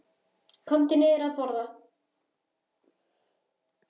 Komdu niður að borða.